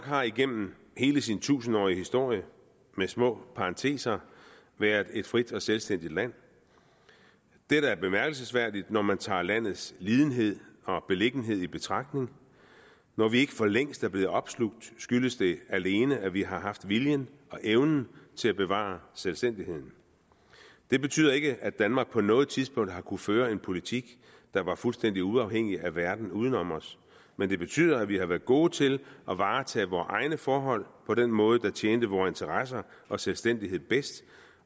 har igennem hele sin tusindårige historie med små parenteser været et frit og selvstændigt land dette er bemærkelsesværdigt når man tager landets lidenhed og beliggenhed i betragtning når vi ikke for længst er blevet opslugt skyldes det alene at vi har haft viljen og evnen til at bevare selvstændigheden det betyder ikke at danmark på noget tidspunkt har kunnet føre en politik der var fuldstændig uafhængig af verden uden om os men det betyder at vi har været gode til at varetage vores egne forhold på den måde der tjente vores interesser og selvstændighed bedst